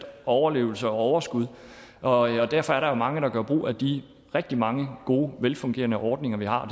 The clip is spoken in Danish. overlevelse og overskud og derfor er der jo mange der gør brug af de rigtig mange gode velfungerende ordninger vi har